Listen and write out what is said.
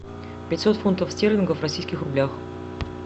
пятьсот фунтов стерлингов в российских рублях